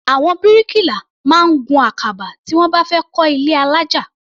Àwọn bíríkìlà máa ń gun àkàbà tí wọ́n bá fẹ́ kọ́ ilé alájà.